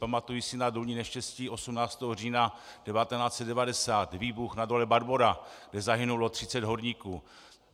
Pamatuji si na důlní neštěstí 18. října 1990 - výbuch na dole Barbora, kde zahynulo 30 horníků.